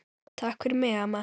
Takk fyrir mig, amma.